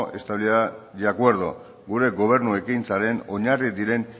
estabilidad y acuerdo gure gobernu ekintzaren oinarri diren